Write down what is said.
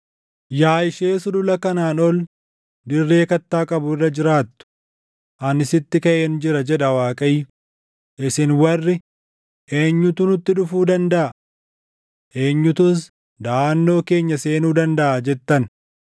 Yaa ishee sulula kanaan ol dirree kattaa qabu irra jiraattu, ani sitti kaʼeen jira, jedha Waaqayyo; isin warri, “Eenyuttu nutti dhufuu dandaʼa? Eenyutus daʼannoo keenya seenuu dandaʼa?” jettan,